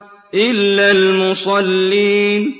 إِلَّا الْمُصَلِّينَ